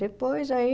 Depois aí...